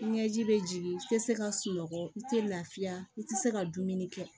Ɲɛji bɛ jigin i tɛ se ka sunɔgɔ i tɛ lafiya i tɛ se ka dumuni kɛ